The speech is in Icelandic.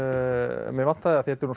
mig vantaði af því þetta er